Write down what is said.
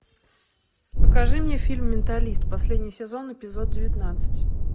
покажи мне фильм менталист последний сезон эпизод девятнадцать